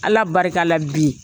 Ala barika la bi.